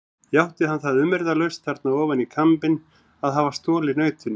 Játti hann það umyrðalaust þarna ofan í kambinn að hafa stolið nautinu.